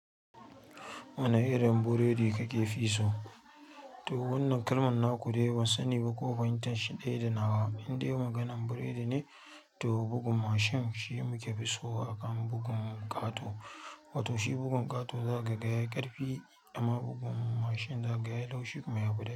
Wane irin burodi kake fi so? To wannan kalman na ku dai ban sani ba ko fahimtar shi ɗaya da nawa. Indai maganar burodi ne to bugun mashin shi muke dashi wato bugun ƙato. Wato shi bugun ƙato zaka ga yayi ƙarfi amma bugun mashin zaka ga yayi laushi kuma yafi daɗi.